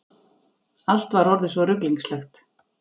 Allt var orðið svo ruglingslegt.